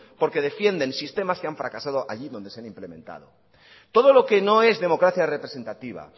porque defienden sistemas que han fracasado allí donde se han implementado todo lo que no es democracia representativa